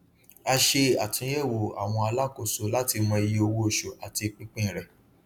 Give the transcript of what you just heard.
a ṣe àtúnyẹwò àwọn alákóso láti mọ iye owó oṣù àti pínpín rẹ